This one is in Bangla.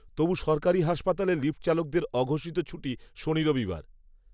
তবু সরকারি হাসপাতালে লিফ্টচালকদের অঘোষিত ছুটি শনি রবিবার